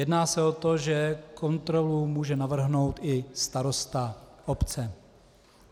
Jedná se o to, že kontrolu může navrhnout i starosta obce.